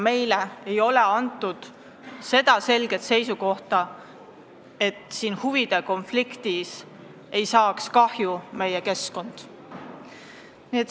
Meile ei ole antud selget kinnitust, et selle huvide konflikti tõttu ei kannaks kahju meie keskkond.